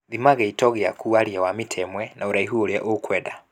Thima gĩito gĩaku warie wa mita imwe na ũraihu ũria ũkwenda